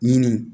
Minnu